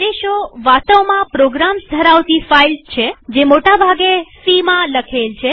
આદેશો વાસ્તવમાં પ્રોગ્રામ્સ ધરાવતી ફાઈલ્સ છેજે મોટા ભાગે સી માં લખેલ છે